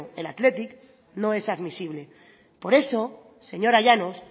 el athletic no es admisible por eso señora llanos